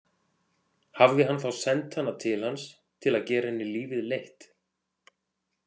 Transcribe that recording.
Hafði hann þá sent hana til hans til að gera henni lífið leitt?